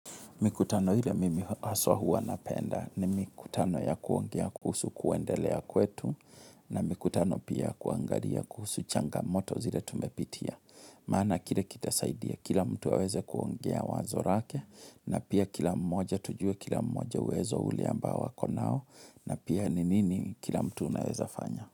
Mikutano ile mimi haswa huwa na penda ni mikutano ya kuongea kuhusu kuendelea kwetu na mikutano pia kuangaria kuhusu changamoto zile tumepitia. Maana kile kitasaidia, kila mtu ya aweze kuongea wazo rake na pia kila mmoja tujue kila mmoja wezo ule amba wako nao na pia ninini kila mtu unaweza fanya.